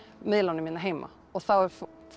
miðlunum hérna heima og þá